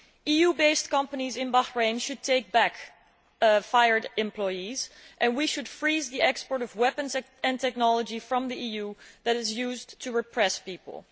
EU based companies in Bahrain should take back fired employees, and we should freeze the export of weapons and technology from the EU that is used to repress people.